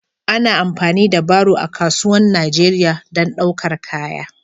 Ana amfani da baro a kasuwan Najeriya don ɗaukar kaya.